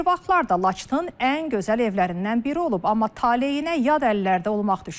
Bir vaxtlar da Laçının ən gözəl evlərindən biri olub, amma taleyinə yad əllərdə olmaq düşüb.